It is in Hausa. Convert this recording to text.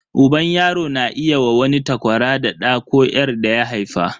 Uban yaro na iya wa wani takwara da ɗa ko 'yar daya haifa.